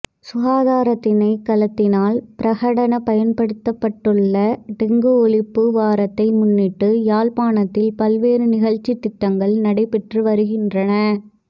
சுகாதாரத்திணைக்களத்தினால் பிரகடனப்படுத்தப்பட்டுள்ள டெங்கு ஒழிப்பு வாரத்தை முன்னிட்டு யாழ்ப்பாணத்தில் பல்வேறு நிகழ்ச்சித்திட்டங்கள் நடைபெற்று வருகின்றன